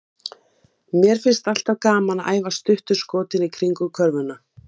Kljúfið blómkálið og spergilkálið í kvisti, skerið blaðlaukinn í sneiðar og gulræturnar í granna stafi.